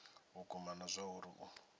vhukuma na zwauri a u